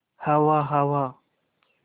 हवा हवा